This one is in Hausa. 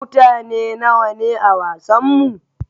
Mutane nawa ne a wasanmu?